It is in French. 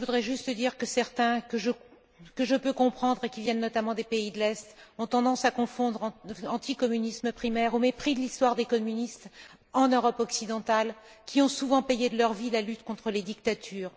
Je voudrais juste dire que certains, que je peux comprendre et qui viennent notamment des pays de l'Est, ont tendance à s'en tenir à un anti communisme primaire au mépris de l'histoire des communistes en Europe occidentale, qui ont souvent payé de leur vie la lutte contre les dictatures.